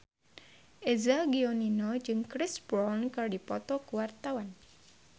Eza Gionino jeung Chris Brown keur dipoto ku wartawan